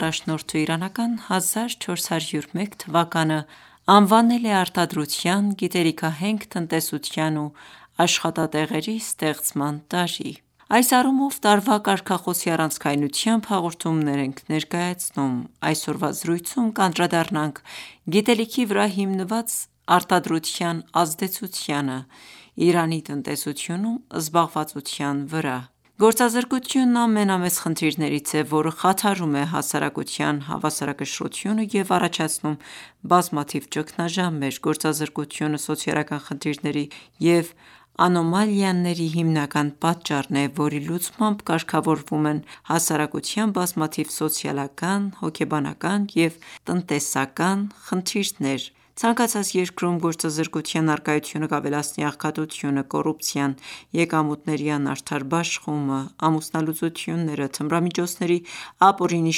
առաջնորդն իրանական 1401 թվականն անվանել է «Արտադրության, գիտելիքահենք տնտեսության ու աշխատատեղերի ստեղծման տարի»: Այս առումով տարվա կարգախոսի առանցքայնությամբ հաղորդումներ ենք ներկայացնում: Այսօրվա զրույցում կանդրադառնանք գիտելիքի վրա հիմնված արտադրության ազդեցությանը՝ Իրանի տնտեսությունում զբաղվածության վրա։ Գործազրկությունն ամենամեծ խնդիրներից է, որը խաթարում է հասարակության հավասարակշռությունը և առաջացնում բազմաթիվ ճգնաժամեր։ Գործազրկությունը սոցիալական խնդիրների և անոմալիաների հիմնական պատճառն է, որի լուծմամբ կարգավորվում են հասարակության բազմաթիվ սոցիալական, հոգեբանական և տնտեսական խնդիրներ։ Ցանկացած երկրում գործազրկության առկայությունը կավելացնի աղքատությունը, կոռուպցիան, եկամուտների անարդար բաշխումը, ամուսնալուծությունները, թմրամիջոցների ապօրինի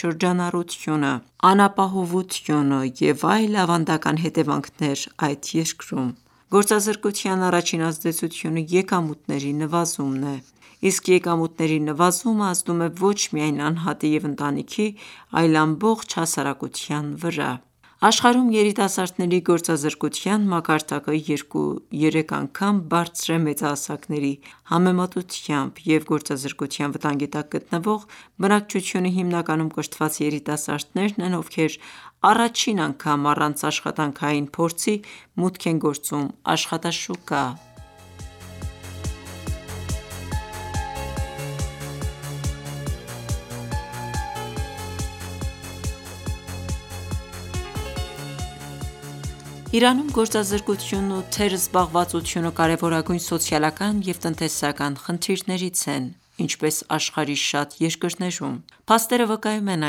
շրջանառությունը, անապահովությունը և այլ ավանդական հետևանքներ այդ երկրում։ Գործազրկության առաջին ազդեցությունը եկամուտների նվազումն է, իսկ եկամուտների նվազումը ազդում է ոչ միայն անհատի և ընտանիքի, այլ ամբողջ հասարակության վրա։ Աշխարհում երիտասարդների գործազրկության մակարդակը երկու-երեք անգամ բարձր է, մեծահասակների համեմատությամբ, և գործազրկության վտանգի տակ գտնվող բնակչությունը հիմնականում կրթված երիտասարդներն են, ովքեր առաջին անգամ առանց աշխատանքային փորձի մուտք են գործում աշխատաշուկա: Իրանում գործազրկությունն ու թերզբաղվածությունը կարևորագույն սոցիալական և տնտեսական խնդիրներից են, ինչպես աշխարհի շատ երկրներում։ Փաստերը վկայում են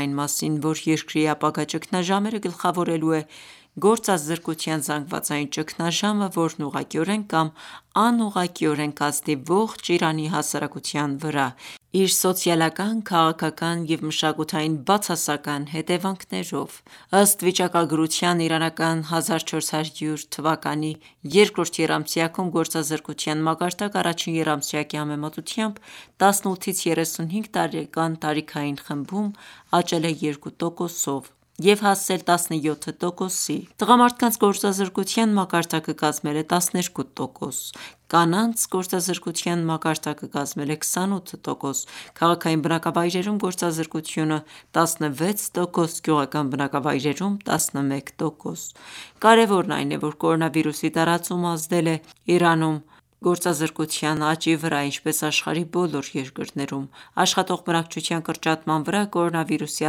այն մասին, որ երկրի ապագա ճգնաժամերը գլխավորելու է գործազրկության զանգվածային ճգնաժամը, որն ուղղակիորեն կամ անուղղակիորեն կազդի ողջ Իրանի հասարակության վրա՝ իր բացասական սոցիալական, քաղաքական և մշակութային հետևանքներով: Ըստ վիճակագրության՝ իրանական 1400 թվականի երկրորդ եռամսյակում գործազրկության մակարդակը առաջին եռամսյակի համեմատ՝ 18-ից 35 տարեկան տարիքային խմբում, աճել է 2%-ով և հասել 17%-ի, տղամարդկանց գործազրկության մակարդակը կազմել է 12%։ Կանանց գործազրկության մակարդակը կազմել է 28%, քաղաքային բնակավայրերում գործազրկությունը՝ 16%, գյուղական բնակավայրերում՝ 11%։ Կարևորն այն է, որ կորոնավիրուսի տարածումն ազդել է Իրանում գործազրկության աճի վրա, ինչպես աշխարհի բոլոր երկրներում։ Աշխատող բնակչության կրճատման վրա կորոնավիրուսի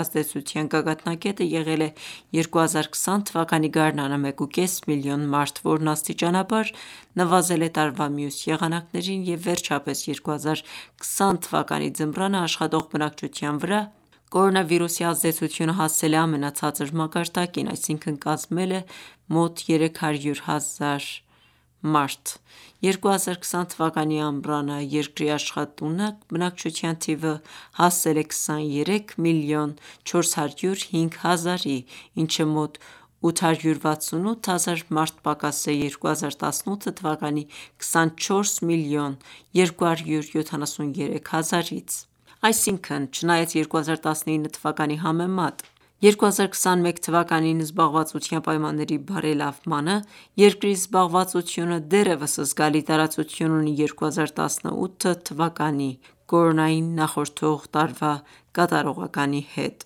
ազդեցության գագաթնակետը եղել է 2020 թվականի գարնանը՝ 1,5 միլիոն մարդ, որն աստիճանաբար նվազել է տարվա մյուս եղանակներին, և վերջապես՝ 2020 թվականի ձմռանը, աշխատող բնակչության վրա կորոնավիրուսի ազդեցությունը հասել է ամենացածր մակարդակին՝ այսինքն՝ կազմել մոտ 300 հազար մարդու։ 2020 թվականի ամռանը երկրի աշխատունակ բնակչության թիվը հասել է 23 միլիոն 405 հազարի, ինչը մոտ 868 հազար մարդ պակաս է 2018 թվականի 24 միլիոն 273 հազարից։ Այսինքն՝ չնայած 2019 թվականի համեմատ 2021 թվականին զբաղվածության պայմանների բարելավմանը, երկրի զբաղվածությունը դեռևս զգալի տարածություն ունի 2018 թվականի (կորոնային նախորդ տարի) կատարողականի հետ։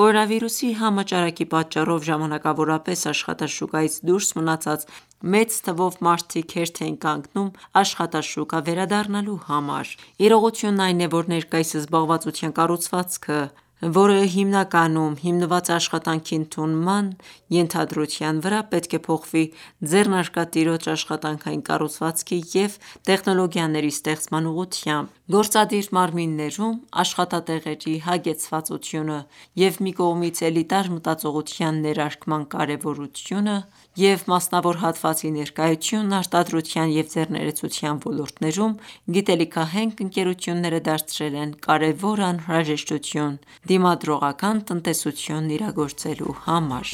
Կորոնավիրուսի համաճարակի պատճառով ժամանակավորապես աշխատաշուկայից դուրս մնացած մեծ թվով մարդիկ հերթ էին կանգնում աշխատաշուկա վերադառնալու համար։ Իրողությունն այն է, որ ներկայիս զբաղվածության կառուցվածքը, որը հիմնականում հիմնված է «աշխատանքի ընդունման» ենթադրության վրա, պետք է փոխվի ձեռնարկատիրոջ աշխատանքային կառուցվածքի և տեխնոլոգիաների ստեղծման ուղղությամբ։ Գործադիր մարմիններում աշխատատեղերի հագեցվածությունը և մի կողմից էլիտար մտածողության ներարկման կարևորությունը և մասնավոր հատվածի ներկայությունը արտադրության և ձեռներեցության ոլորտներում գիտելիքահենք ընկերությունները դարձրել են կարևոր անհրաժեշտություն՝ դիմադրողական տնտեսությունն իրագործելու համար։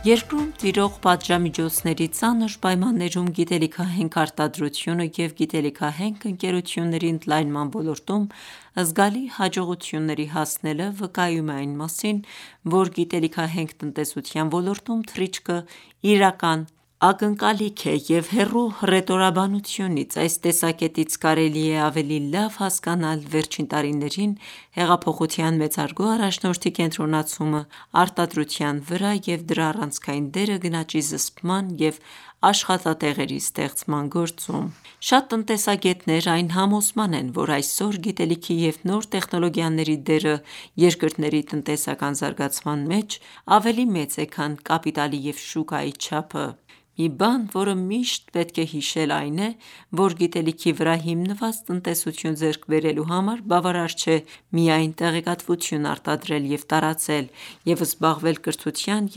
Երկրում տիրող պատժամիջոցների ծանր պայմաններում գիտելիքահենք արտադրությունը և գիտելիքահենք ընկերությունների ընդլայնման ոլորտում զգալի հաջողությունների հասնելը վկայում է այն մասին, որ գիտելիքահենք տնտեսության ոլորտում թռիչքը իրական ակնկալիք է և հեռու հռետորաբանությունից։ Այս տեսակետից կարելի է ավելի լավ հասկանալ վերջին տարիներին հեղափոխության մեծարգո առաջնորդի կենտրոնացումը արտադրության վրա և դրա առանցքային դերը գնաճի զսպման և աշխատատեղերի ստեղծման գործում։ Շատ տնտեսագետներ այն համոզման են, որ այսօր գիտելիքի և նոր տեխնոլոգիաների դերը երկրների տնտեսական զարգացման մեջ ավելի մեծ է, քան կապիտալի և շուկայի չափը։ Մի բան, որը միշտ պետք է հիշել, այն է, որ գիտելիքի վրա հիմնված տնտեսություն ձեռք բերելու համար բավարար չէ միայն տեղեկատվություն արտադրել և տարածել, և զբաղվել կրթության և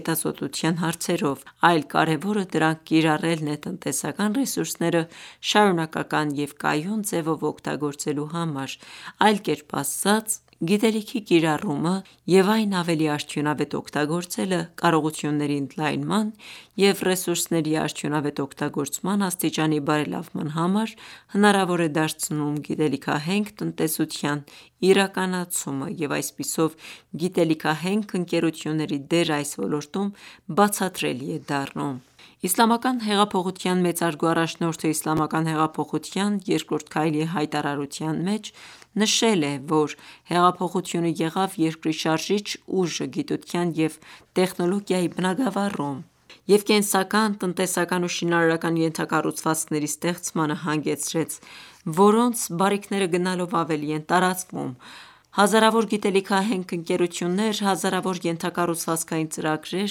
հետազոտության հարցերով, այլ կարևորը դրանք կիրառելն է տնտեսական ռեսուրսները շարունակական և կայուն ձևով օգտագործելու համար։ Այլ կերպ ասած, գիտելիքի կիրառումը և այն ավելի արդյունավետ օգտագործելը կարողությունների ընդլայնման և ռեսուրսների արդյունավետ օգտագործման աստիճանի բարելավման համար հնարավոր է դարձնում գիտելիքահենք տնտեսության իրականացումը, և այսպիսով գիտելիքահենք ընկերությունների դերն այս ոլորտում բացատրելի է դառնում: Իսլամական հեղափոխության մեծարգո առաջնորդը Իսլամական հեղափոխության երկրորդ քայլի հայտարարության մեջ նշել է, որ հեղափոխությունը «եղավ երկրի շարժիչ ուժը գիտության և տեխնիկայի բնագավառում և կենսական, տնտեսական ու շինարարական ենթակառուցվածքների ստեղծմանը հանգեցրեց, որոնց բարիքները գնալով ավելի են տարածվում։ Հազարավոր գիտելիքահենք ընկերություններ, հազարավոր ենթակառուցվածքային ծրագրեր՝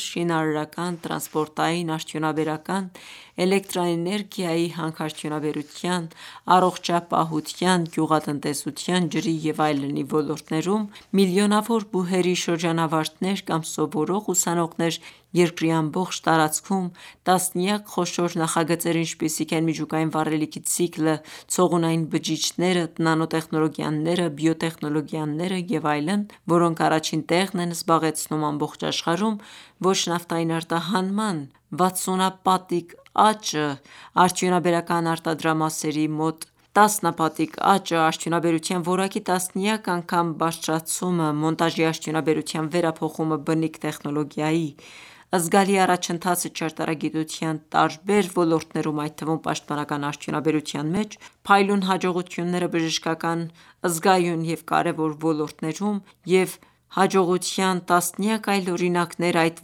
շինարարական, տրանսպորտային, արդյունաբերական, էլեկտրաէներգիայի, հանքարդյունաբերության, առողջապահության, գյուղատնտեսության, ջրի և այլնի ոլորտներում, միլիոնավոր բուհերի շրջանավարտներ կամ սովորող ուսանողներ երկրի ամբողջ տարածքում, տասնյակ խոշոր նախագծեր, ինչպիսիք են միջուկային վառելիքի ցիկլը, ցողունային բջիջները, նանոտեխնոլոգիաները, բիոտեխնոլոգիաները և այլն, որոնք առաջին տեղն են զբաղեցնում ամբողջ աշխարհում, ոչ նավթային արտահանման վաթսունապատիկ աճը, արդյունաբերական արտադրամասերի մոտ տասնապատիկ աճը, արդյունաբերության որակի տասնյակ անգամ բարձրացումը, մոնտաժի արդյունաբերության վերափոխումը բնիկ տեխնոլոգիայի, զգալի առաջընթացը ճարտարագիտության տարբեր ոլորտներում, այդ թվում՝ պաշտպանական արդյունաբերության մեջ, փայլուն հաջողությունները բժշկական զգայուն և կարևոր ոլորտներում, և հաջողության տասնյակ այլ օրինակներ այդ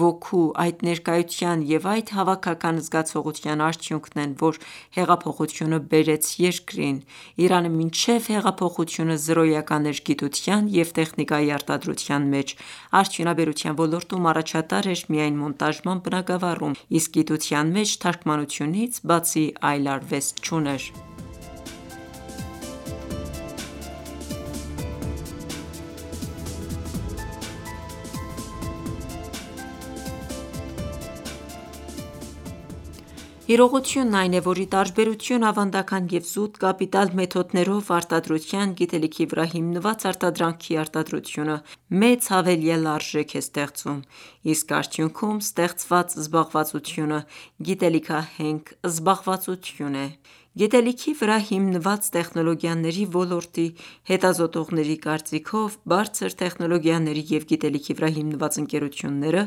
ոգու, այդ ներկայության և այդ հավաքական զգացողության արդյունքն են, որ հեղափոխությունը բերեց երկրին։ Իրանը մինչև հեղափոխությունը զրոյական էր գիտության և տեխնիկայի արտադրության մեջ, արդյունաբերության ոլորտում առաջատար էր միայն մոնտաժման բնագավառում, իսկ գիտության մեջ թարգմանությունից բացի այլ արվեստ չուներ: Իրողությունն այն է, որ ի տարբերություն ավանդական և զուտ կապիտալ մեթոդներով արտադրության, գիտելիքի վրա հիմնված արտադրանքի արտադրությունը մեծ հավելյալ արժեք է ստեղծում, իսկ արդյունքում ստեղծված զբաղվածությունը գիտելիքահենք զբաղվածություն է։ Գիտելիքի վրա հիմնված տեխնոլոգիաների ոլորտի հետազոտողների կարծիքով՝ բարձր տեխնոլոգիաների և գիտելիքի վրա հիմնված ընկերությունները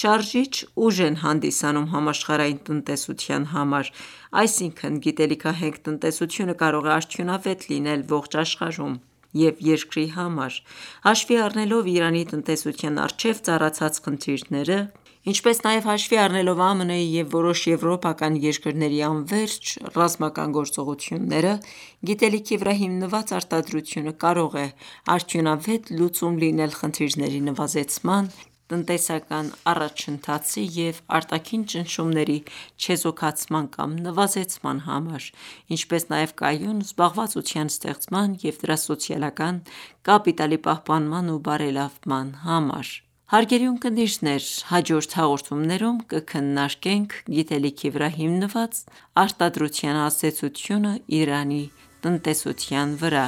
շարժիչ ուժ են հանդիսանում համաշխարհային տնտեսության համար: Այսինքն՝ գիտելիքահենք տնտեսությունը կարող է արդյունավետ լինել ողջ աշխարհում և երկրի համար։ Հաշվի առնելով Իրանի տնտեսության առջև ծառացած խնդիրները, ինչպես նաև հաշվի առնելով ԱՄՆ-ի և որոշ եվրոպական երկրների անվերջ ռազմական գործողությունները, գիտելիքի վրա հիմնված արտադրությունը կարող է արդյունավետ լուծում լինել խնդիրների նվազեցման, տնտեսական առաջընթացի, և արտաքին ճնշումների չեզոքացման կամ նվազեցման համար, ինչպես նաև կայուն զբաղվածության ստեղծման և դրա սոցիալական կապիտալի պահպանման ու բարելավման համար։ Հարգելի ունկնդիրներ, հաջորդ հաղորդումներում կքննարկենք գիտելիքի վրա հիմնված արտադրության ազդեցությունն Իրանի տնտեսության վրա: